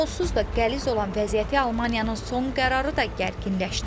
Onsuz da qəliz olan vəziyyəti Almaniyanın son qərarı da gərginləşdirib.